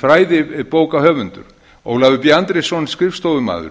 fræðibókahöfundur ólafur b andrésson skrifstofumaður